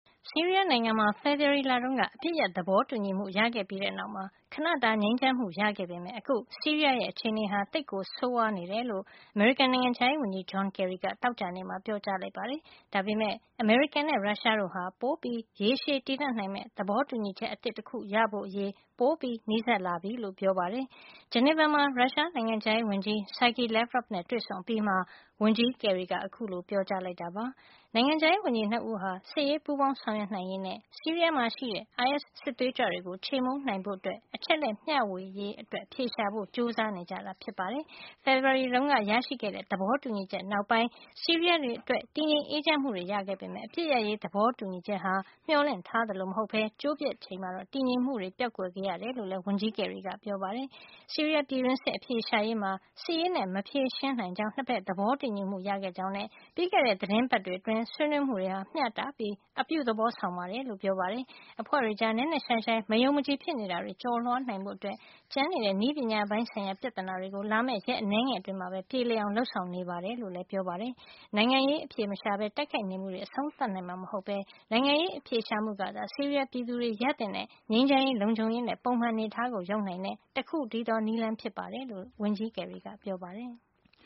ဆီးရီးယားနိုင်ငံမှာ ဖေဖေါ်ဝါရီလတုန်းက အပစ်ရပ်သဘောတူညီမှု ရခဲ့ပြီးတဲ့နောက် ခဏတာ ငြိမ်းချမ်းမှု ရခဲ့ပေမယ့် အခု ဆီးရီးယားရဲ့ အခြေနေဟာ သိပ်ကို ဆိုးဝါးနေတယ် လို့ အမေရိကန် နိုင်ငံခြားရေးဝန်ကြီး John Kerry က သောကြာနေ့ မှာ ပြောပါတယ်။ ဒါပေမယ့် အမေရိကန်နဲ့ ရုရှားတို့ဟာ ပိုပြီး ရေရှည်တည်တံ့နိုင်မယ့် သဘောတူညီချက် အသစ်တခုရဖို့အရေး ပိုမိုနီးစပ်လာပြီလို့ ပြောပါတယ်။ ဂျနီဗာမှာ ရုရှားနိုင်ငံခြားရေးဝန်ကြီး Sergei Lavrov နဲ့ တွေ့ဆုံအပြီးမှာ ဝန်ကြီးကယ်ရီက အခုလို ပြောကြားလိုက်တာပါ။ နိုင်ငံခြားရေး ဝန်ကြီး ၂ ဦးဟာ စစ်ရေး ပူးပေါင်းဆောင်ရွက်နိုင်ရေးနဲ့ ဆီးရီးယားမှာ ရှိတဲ့ အိုင်အက်စ် စစ်သွေးကြွတွေကို ခြေမှုန်းနိုင်ဖို့ အချက်အလက် မျှဝေရေးအတွက် အဖြေရှာဖို့ ကြိုးစားနေကြတာပါ။ ဖေဖေါ်ဝါရီ တုန်းက ရခဲ့တဲ့ သဘောတူညီချက်နောက်ပိုင်း ဆီးရီးယားတွေ အတွက် တည်ငြိမ်အေးချမ်းမှုတွေ ရခဲ့ပေမယ့် အပစ်ရပ်ရေး သဘောတူညီချက် ဟာ မျှော်လင့် ထားသလိုမဟုတ်ပဲ ကျိုး ပျက်ချိန်မှာ တော့ တည်ငြိမ်မှုတွေ ပျောက်ကွယ် ခဲ့ရတယ်လို့လည်း ဝန်ကြီး ကယ်ရီက ပြောပါတယ်။ ဆီးရီးယား ပြည်တွင်းစစ် အဖြေရှာရေးမှာ စစ်ရေးနဲ့ မဖြေရှင်းနိုင်ကြောင်း ၂ ဖက် သဘောတူညီမှု ရခဲ့ကြောင်းနဲ့ ပြီးခဲ့တဲ့ သီတင်း ပါတ်တွေ အတွင်း ဆွေးနွေးမှုတွေ ဟာ မျှတပြီး အပြုသဘောဆောင်တယ်လို့ ပြောပါတယ်။ အဖွဲ့တွေကြား နက်နက်ရှိုင်းရှိုင်း မယုံမကြည် ဖြစ်နေတာတွေ ကျော်လွှားနိုင်ဖို့ ကျန်နေတဲ့ နည်းပညာပိုင်းဆိုင်ရာ ပြဿနာတွေကို လာမယ့် ရက်အနည်းငယ် အတွင်းမှာပဲပြေလည်အောင် လုပ်ဆောင်နေတယ်လို့လည်း ပြောပါတယ်။ နိုင်ငံရေးအဖြေမရှာပဲ တိုက်ခိုက်နေမှုတွေ အဆုံးသတ်မှာ မဟုတ်ပဲ နိုင်ငံရေးအဖြေရှာမှုကသာ ဆီးရီးယား ပြည်သူတွေရသင့်တဲ့ ငြိမ်းချမ်းရေး၊ လုံခြုံရေးနဲ့ ပုံမှန် အနေထားကို ရောက်နိုင်တဲ့ တခုတည်းသော နည်းလမ်းဖြစ်တယ်လို့လည်း ဝန်ကြီးကယ်ရီက ပြောပါတယ်။